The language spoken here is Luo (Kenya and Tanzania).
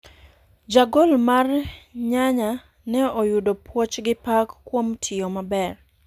Jagol mar nyanya ne oyudo puoch gi pak kuom tiyo maber.